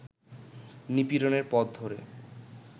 নিপীড়নের পথ ধরে